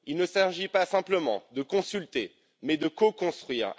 Il ne s'agit pas simplement de consulter mais de co construire.